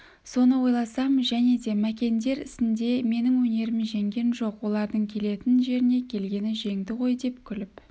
соны ойласам және де мәкендер ісінде менің өнерім жеңген жоқ олардың келетін жеріне келгені жеңді ғой деп күліп